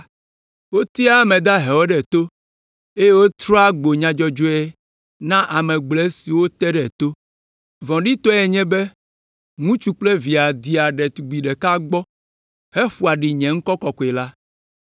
Wotea ame dahewo ɖe to, eye wotrɔa gbo nya dzɔdzɔewo na ame gblɔe siwo wote ɖe to. Vɔ̃ɖitɔe nye be, ŋutsu kple via dea ɖetugbi ɖeka gbɔ heƒoa ɖi nye ŋkɔ kɔkɔe la.